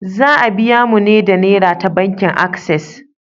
Za a biya mu ne da Nera ta bankin Ases.